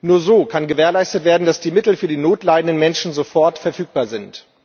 Nur so kann gewährleistet werden, dass die Mittel für die Not leidenden Menschen sofort verfügbar sind.